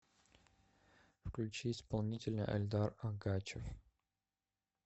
включи исполнителя эльдар агачев